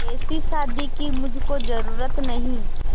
ऐसी शादी की मुझको जरूरत नहीं